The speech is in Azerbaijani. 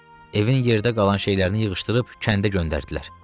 Evin yerdə qalan şeylərini yığışdırıb kəndə göndərdilər.